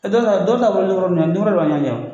Dɔw ta, dɔw ta bɔlen kɔrɔ jumɛn